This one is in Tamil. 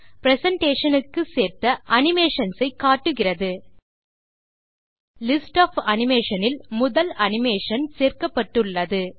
பிரசன்டேஷன் க்கு சேர்த்த அனிமேஷன்ஸ் ஐ காட்டுகிறது லிஸ்ட் ஒஃப் அனிமேஷன் இல் முதல் அனிமேஷன் சேர்க்கப்பட்டுள்ளது